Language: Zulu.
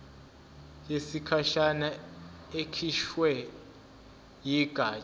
yesikhashana ekhishwe yigatsha